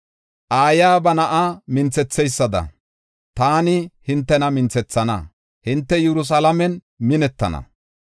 Aayiya ba na7a minthetheysada taani hintena minthethenna; hinte Yerusalaamen minettana.